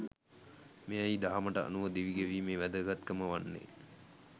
මෙයයි දහමට අනුව දිවිගෙවීමේ වැදගත්කම වන්නේ